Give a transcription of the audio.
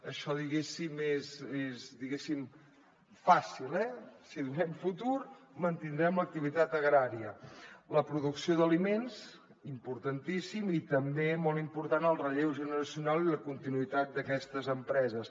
això diguéssim és fàcil eh si donem futur mantindrem l’activitat agrària la producció d’aliments importantíssim i també molt important el relleu generacional i la continuïtat d’aquestes empreses